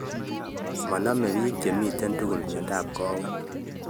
Maname piik chemitei tugul miondap kawek